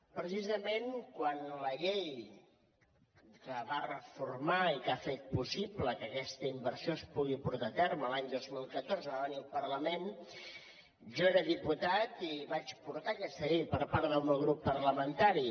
precisament quan la llei que va reformar i que ha fet possible que aquesta inversió es pugui portar a terme l’any dos mil catorze va venir al parlament jo era diputat i vaig portar aquesta llei per part del meu grup parlamentari